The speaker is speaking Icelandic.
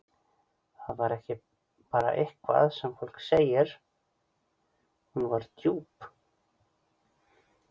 Það var ekki bara eitthvað sem fólk segir, hún var djúp.